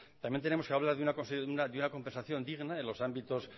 también tenemos que hablar de una compensación digna en los ámbitos